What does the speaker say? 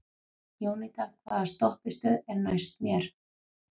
Jónída, hvaða stoppistöð er næst mér?